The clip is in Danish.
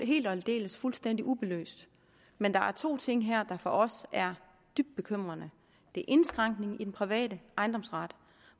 helt og aldeles fuldstændig ubelyst med der er to ting her der for os er dybt bekymrende det er indskrænkningen i den private ejendomsret